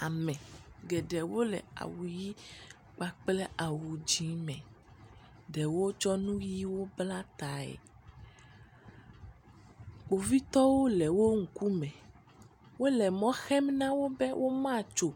Ame geɖewo le awu ʋi kpakple awu dzi me. Ɖewo tsɔ nu ʋiwo bla tae. Kpovitɔwo le wo ŋkume wole mɔ xem na wo be womatso.